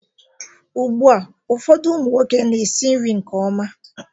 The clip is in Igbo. Ugbu a ụfọdụ ụmụ nwoke na-esi nri nke ọma